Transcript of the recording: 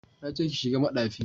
Na ce ki shiga madafi